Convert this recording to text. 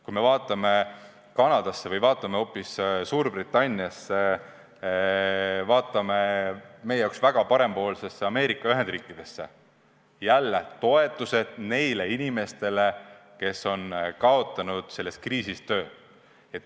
Kui me vaatame Kanadasse või vaatame hoopis Suurbritanniasse, vaatame meie jaoks väga parempoolsesse Ameerika Ühendriikidesse – jälle näeme toetusi inimestele, kes on selles kriisis töö kaotanud.